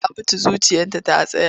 Binta ta mutu zuciyarta ta tsaya.